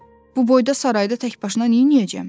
Bu boyda sarayda təkbaşına neynəyəcəm?